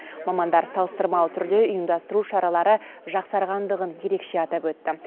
мамандар салыстырмалы түрде ұйымдастыру шаралары жақсарғандығын ерекше атап өтті